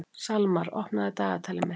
Salmar, opnaðu dagatalið mitt.